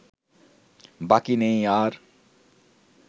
বাকি নেই আর